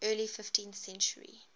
early fifteenth century